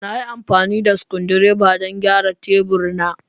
Na yi amfani da screwdriver don gyara tebur na.